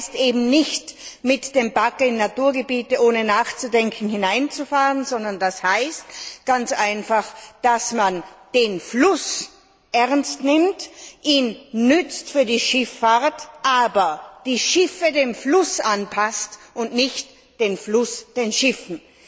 Das heißt eben nicht mit dem Bagger in Naturgebiete ohne nachzudenken hineinzufahren, sondern das heißt ganz einfach, dass man den Fluss ernst nimmt, ihn für die Schifffahrt nutzt, aber die Schiffe dem Fluss anpasst und nicht den Fluss den Schiffen.